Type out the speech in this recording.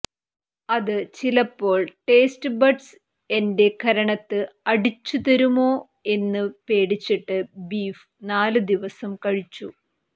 അത് ചിലപ്പോൾ ടേസ്റ്റ്ബഡ്സ് എന്റെ കരണത്ത് അടിച്ചുതരുമോ എന്ന് പേടിച്ചിട്ട് ബീഫ് നാല് ദിവസം കഴിച്ചു